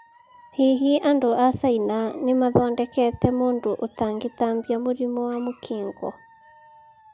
Hihi andũ a China nĩ 'mathondekete' mũndũ ũtangetambia mũrimũ wa Mũkingo?